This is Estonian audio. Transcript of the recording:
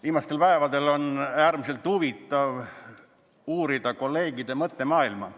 Viimastel päevadel on olnud äärmiselt huvitav uurida kolleegide mõttemaailma.